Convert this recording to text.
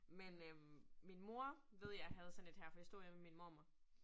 Men øh min mor ved jeg havde sådan 1 her. For det stod hjemme ved min mormor